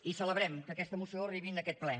i celebrem que aquesta moció arribi a aquest ple